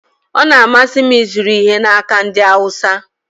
Ọ na-amasị m ịzụrụ ihe n'aka ndị Awụsa